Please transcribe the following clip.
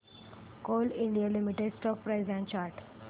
Coal India Limited stock price and chart